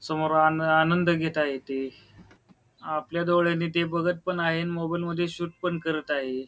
समोर आनंद आनंद घेत आहेत ते आपल्या डोळ्यानी ते बघत पण आहे आणि मोबाइल मध्ये शूट पण करत आहे.